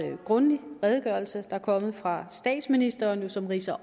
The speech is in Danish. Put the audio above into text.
grundig redegørelse der er kommet fra statsministeren som ridser